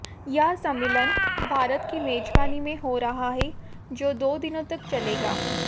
यह सम्मेलन भारत की मेज़बानी में हो रहा है जो दो दिनों तक चलेगा